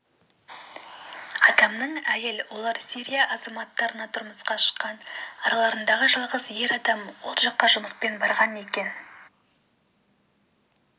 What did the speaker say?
адамның әйел олар сирия азаматтарына тұрмысқа шыққан араларындағы жалғыз ер адам ол жаққа жұмыспен барған екен